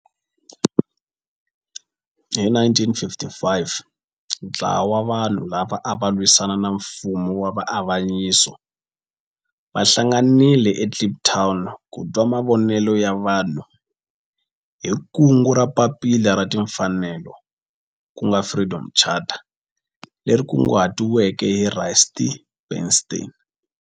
Hi 1955 ntlawa wa vanhu lava ava lwisana na nfumo wa avanyiso va hlanganile eKliptown ku twa mavonelo ya vanhu hi kungu ra Papila ra Tinfanelo, ku nga Freedom Charter, leri kunguhatiweke hi Rusty Bernstein.